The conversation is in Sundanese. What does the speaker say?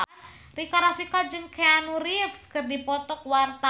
Rika Rafika jeung Keanu Reeves keur dipoto ku wartawan